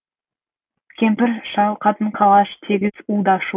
кемпір шал қатын қалаш тегіс у да шу